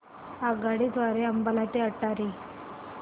आगगाडी द्वारे अंबाला ते अटारी